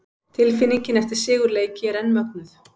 Tilfinningin eftir sigurleiki er enn mögnuð!